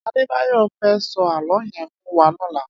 Adebayo fè sò àlõ yèn fún wà lòlá